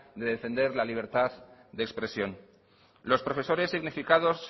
de defender la libertad de expresión los profesores significados